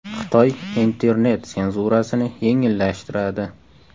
Xitoy internet senzurasini yengillashtiradi.